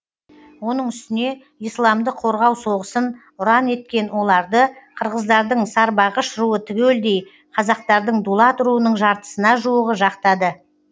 оның үстіне исламды қорғау соғысын ұран еткен оларды қырғыздардың сарбағыш руы түгелдей қазақтардың дулат руының жартысына жуығы жақтады